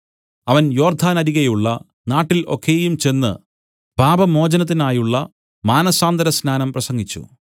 അവൻ യോർദ്ദാനരികെയുള്ള നാട്ടിൽ ഒക്കെയും ചെന്ന് പാപമോചനത്തിനായുള്ള മാനസാന്തരസ്നാനം പ്രസംഗിച്ചു